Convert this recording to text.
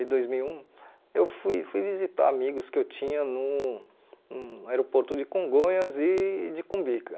de dois mil e um eu fui fui visitar amigos que eu tinha no no aeroporto de Congonhas e de Cumbica.